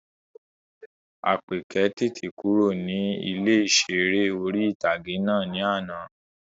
Àpèkẹ́ tètè kúrò ní ilé ìseré orí-ìtágé náà ní àná